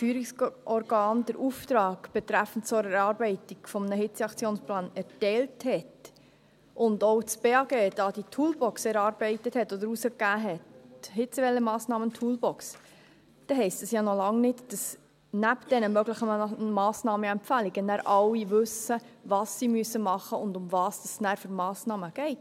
Auch wenn das KFO den Auftrag betreffend die Erarbeitung eines Hitzeaktionsplans erteilt und auch das Bundesamt für Gesundheit (BAG) die Hitzewellenmassnahmen-Toolbox herausgegeben hat, heisst das ja noch lange nicht, dass neben diesen möglichen Massnahmen und Empfehlungen nachher alle wissen, was sie tun müssen und um welche Massnahmen es nachher geht.